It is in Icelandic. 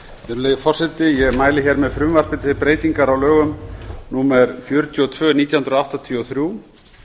virðulegi forseti ég mæli fyrir frumvarpi til laga um breytingu á lögum númer fjörutíu og tvö nítján hundruð áttatíu og þrjú